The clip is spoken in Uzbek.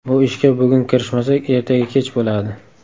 Bu ishga bugun kirishmasak, ertaga kech bo‘ladi.